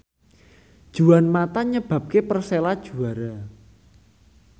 Juan mata nyebabke Persela juara